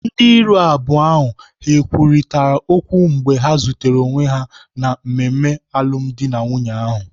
Ndị iro abụọ ha kwurịta okwu mgbe ha zutere onwe ha na mmemme alụmdi na nwunye ahụ?